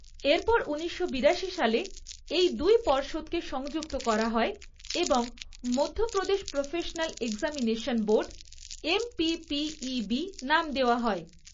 এরপর উনিশশো বিরাশি সালে এই দুই পর্ষদকে সংযুক্ত করা হয় এবং 'Madhya Pradesh professional examination' board, 'MPPEB' নাম দেওয়া হয়।